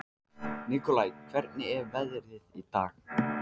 Nikolai, hvernig er veðrið í dag?